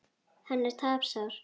Hann er tapsár.